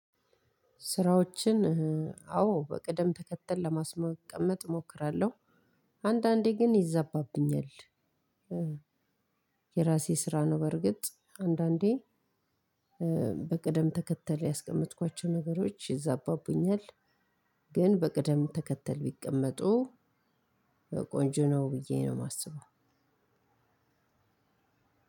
ስራዎችን አዎ በቅደም ተከተል ለማስቀመጥ እሞክራለሁ አንዳንዴ ግን ይዛባብኛል። የራሴ ስራ ነው። በርግጥ አንዳንዴ በቅደም ተከተል ያስቀመጥኳቸው ነገሮች ይዛባብኛል። ግን በቅደም ተከተል ቢቀመጡ ቆንጆ ነው ብዬ ነው የማስበው።